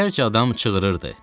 Yüzlərcə adam çığırırdı.